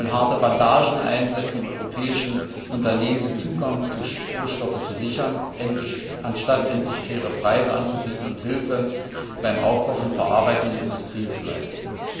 Sie wollen harte Bandagen einsetzen, um europäischen Unternehmen den Zugang zu Rohstoffen zu sichern, anstatt endlich faire Preise anzubieten und Hilfe beim Aufbau von verarbeitenden Industrien zu leisten.